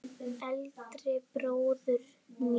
Eldri bróður míns?